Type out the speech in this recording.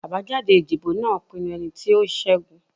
Abajade idibo naa pinnu ẹniti o ṣẹgun